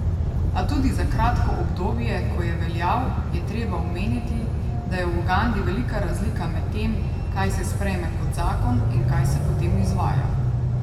A tudi za kratko obdobje, ko je veljal, je treba omeniti, da je v Ugandi velika razlika med tem, kaj se sprejme kot zakon in kaj se potem izvaja.